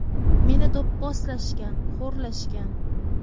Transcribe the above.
Meni do‘pposlashgan, xo‘rlashgan.